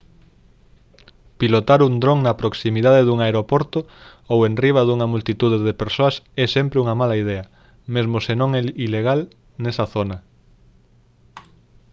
pilotar un dron na proximidade dun aeroporto ou enriba dunha multitude de persoas é sempre unha mala idea mesmo se non é ilegal nesa zona